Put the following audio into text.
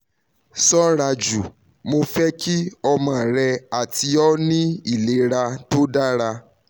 ṣọraju mo fẹ ki ọmọ rẹ ati ọ ni ilera to dara